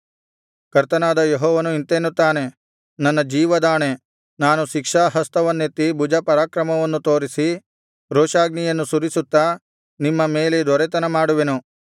ಕರ್ತನಾದ ಯೆಹೋವನು ಇಂತೆನ್ನುತ್ತಾನೆ ನನ್ನ ಜೀವದಾಣೆ ನಾನು ಶಿಕ್ಷಾಹಸ್ತವನ್ನೆತ್ತಿ ಭುಜಪರಾಕ್ರಮವನ್ನು ತೋರಿಸಿ ರೋಷಾಗ್ನಿಯನ್ನು ಸುರಿಸುತ್ತಾ ನಿಮ್ಮ ಮೇಲೆ ದೊರೆತನ ಮಾಡುವೆನು